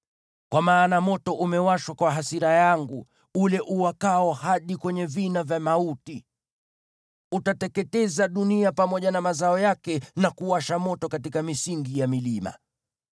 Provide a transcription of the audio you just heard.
Kwa maana moto umewashwa kwa hasira yangu, ule uwakao hadi kwenye vina vya mauti. Utateketeza dunia pamoja na mazao yake, na kuwasha moto katika misingi ya milima.